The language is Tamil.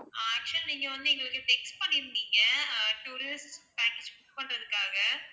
actual ஆ நீங்க வந்து எங்களுக்கு text பண்ணி இருந்தீங்க tourist package book பண்றதுகாக